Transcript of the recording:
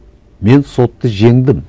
мен сотты жеңдім